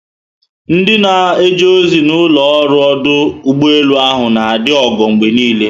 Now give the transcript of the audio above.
Ndị na eje ozi na ụlọ ọrụ ọdụ ụgbọelu ahụ na adị ogo mgbe obula